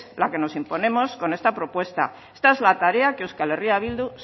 la que nos imponemos con esta propuesta esta es la tarea que euskal herria bildu